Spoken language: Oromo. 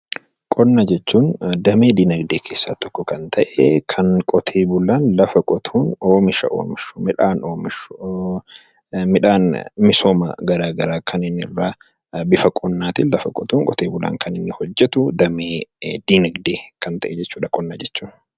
Qonna jechuun damee dinagdee keessaa tokko kan ta'e, kan qote bulaan lafa qotuun oomisha oomishu, midhaan oomishu, midhaan misooma gara garaa kan inni irraa bifa qonnaa tiin lafa qotuun qote bulaan kan inni hojjetu damee dinagdee kan ta'e jechuu dha 'Qonna' jechuun.